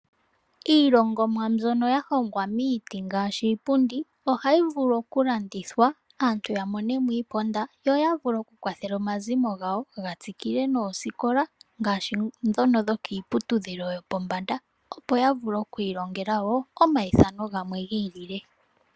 Iilongomwa mbyono ya hongwa miiti ngaashi iipundi ohayi vulu oku landithwa aantu ya monemo iisimpo. Yo ya vule oku kwathela omazimo gawo ga tsikile noosikola ngaa mbono yokiiputudhilo yopo mbanda opo yavule oku ilongela omayithano gamwe giili.